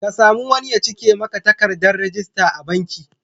Ka sami wani ya cike maka takardar rajista a banki.